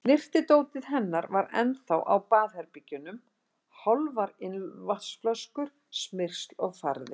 Snyrtidótið hennar var ennþá á baðherbergjunum, hálfar ilmvatnsflöskur, smyrsl og farði.